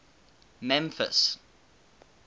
memphis